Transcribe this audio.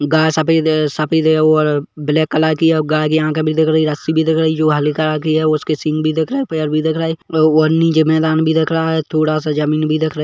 गाय सफेद सफेद और ब्लैक कलर कि है और गाय की आँखे भी दिख रही है रस्सी भी दिख रही है उसकी सिंग भी दिख रही है पैर भी दिख रही है व नीचे मैदान भी दिख रहा है थोड़ा सा जमीन भी दिख रही--